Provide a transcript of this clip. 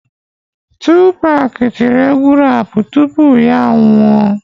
Tupac tiri egwu raapụ tupu ya anwụọ